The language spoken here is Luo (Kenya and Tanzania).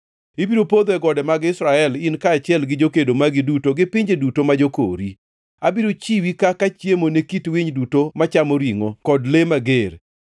Ibiro podho e gode mag Israel, in kaachiel gi jokedo magi duto gi pinje duto ma jokori. Abiro chiwi kaka chiemo ne kit winy duto machamo ringʼo kod le mager.